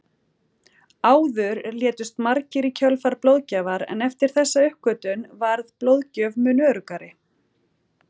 Áður létust margir í kjölfar blóðgjafar en eftir þessa uppgötvun varð blóðgjöf mun öruggari.